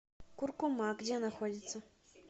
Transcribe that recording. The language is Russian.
куркума где находится